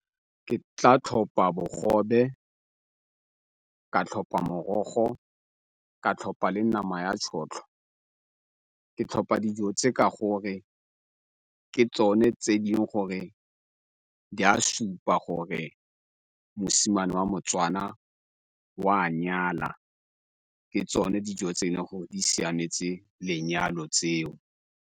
Ke tla tlhopa bogobe, ka tlhopa morogo, ka tlhopa le nama ya tšhotlho. Ke tlhopa dijo tse ka gore ke tsone tse e le gore di a supa gore mosimane wa moTswana o a nyala ke tsone dijo tse e le gore di siametse lenyalo tseo.